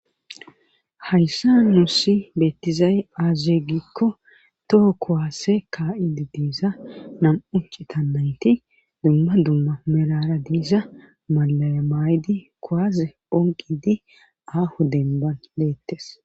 Hayssa nuusi beettizaye aazegikko toho kowaase ka7idi diiza nam7uccitanayti dumma dumma merara diiza malaamay di koaaze onqidi aaho denban leettes